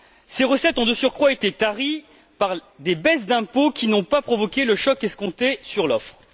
Ces recettes ont, de surcroît, été taries par des baisses d'impôt qui n'ont pas provoqué le choc escompté sur l'offre.